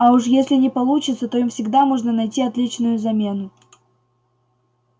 а уж если не получится то им всегда можно найти отличную замену